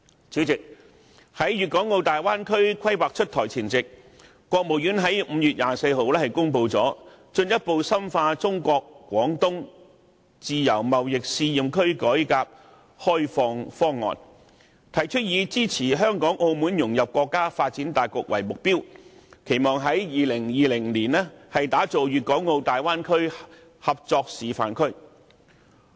主席，在《規劃》出台前夕，中華人民共和國國務院在5月24日公布了《進一步深化中國自由貿易試驗區改革開放方案》，提出以支持港澳融入國家發展大局為目標，期望在2020年打造大灣區合作示範區。